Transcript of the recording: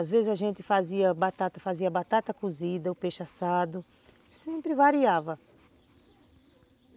Às vezes a gente fazia batata fazia batata cozida, o peixe assado, sempre variava.